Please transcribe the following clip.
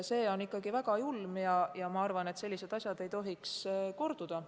See on ikka väga julm ja ma arvan, et sellised asjad ei tohiks korduda.